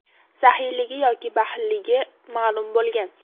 saxiyligi yoki baxilligi ma’lum bo‘lgan.